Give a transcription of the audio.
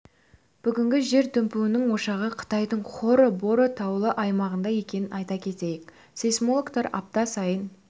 бүгінгі жер дүмпуінің ошағы қытайдың хоро боро таулы аймағында екен айта кетейік сейсмологтар апта сайын